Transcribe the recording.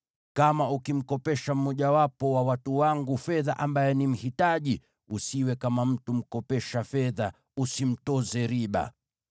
“Kama ukimkopesha mmojawapo wa watu wangu fedha ambaye ni mhitaji, usiwe kama mtu mkopesha fedha; usimtoze riba.